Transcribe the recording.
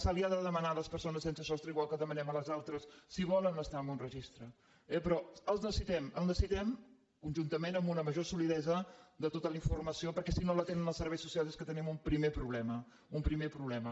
se’ls ha de demanar a les persones sense sostre igual que ho demanem a les altres si volen estar en un registre eh però el necessitem el necessitem conjuntament amb una major solidesa de tota la informació perquè si no la tenen els serveis socials és que tenim un primer problema un primer problema